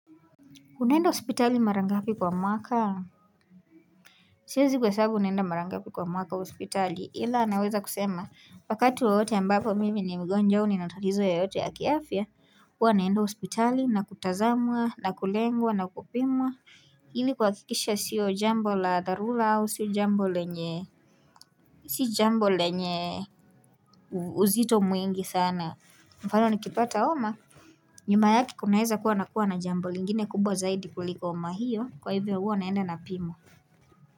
Unaenda hospitali mara ngapi kwa mwaka Siwezi kuhesabu naenda mara ngapi kwa mwaka hospitali ila naweza kusema wakatu wowote ambapo mimi ni mgonjwa au nina talizo yoyote ya kiafia huwa naenda hospitali na kutazamwa na kulengwa na kupimwa Hili kuhakikisha sio jambo la dharura au sio jambo lenye Sio jambo lenye uzito mwingi sana mfano nikipata homa nyuma yake kunaeza kuwa na kuwa na jambo lingine kubwa zaidi kuliko homa hiyo kwa hivyo huwa naenda napimwa.